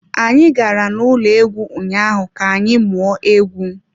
Anyị gara n'ụlọ egwu ụnyaahụ ka anyị mụọ egwú.